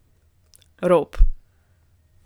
Rop!